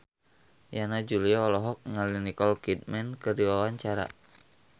Yana Julio olohok ningali Nicole Kidman keur diwawancara